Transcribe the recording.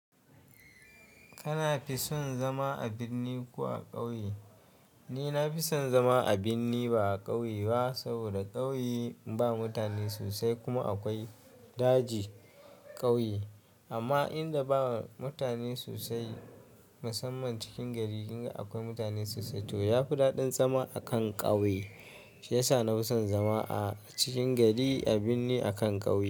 Kana fi son zama a birni ko a ƙauye? Ni na fi son zama a birni ba a ƙauye ba, saboda ƙauye ba mutane sosai kuma akwai daji ƙauye. Amma inda ba mutane sosai, musamman cikin gari, in akwai mutane sosai to yafi daɗin zama a kan ƙauye. Shi yasa na fi son zama a cikin gari a birni a kan ƙauye.